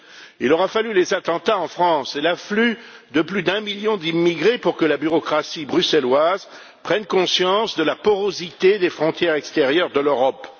Il aura fallu les attentats en France et l'afflux de plus d'un million d'immigrés pour que la bureaucratie bruxelloise prenne conscience de la porosité des frontières extérieures de l'Europe.